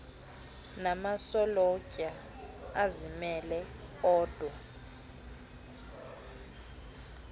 namasolotya azimele odwa